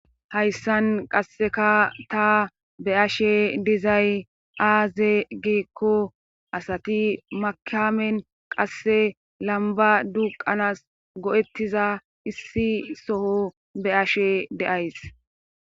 Hayssan qasseka ta be ashe dizay aaze giekko asati makamen qasse lamba duqanas go'ettiza issi soho be ashe deays.